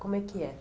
Como é que é?